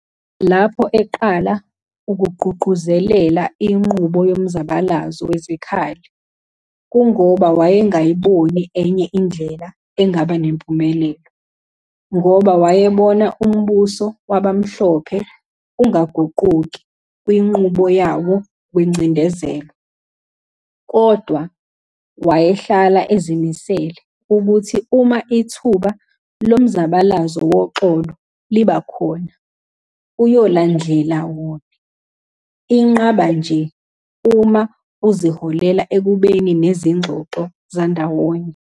Lapho eqala ukugqugquzelela inqubo yomzabalazo wezikhali, kungoba wayengayiboni enye indlela engaba nempumelelo, ngoba wayebona umbuso wabamhlophe ungaquguki kwinqubo yawo wengcindezelo, kodwa wayehlala ezimisele ukuthi uma ithuba lomzabalazo woxolo liba khona, uyolandlela wone, inqaba nje uma izoholela ekubeni nezingxoxo zandawonye.